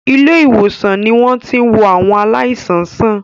Ilé-ìwòsàn ni wọ́n ti ń wo àwọn aláìsàn sàn.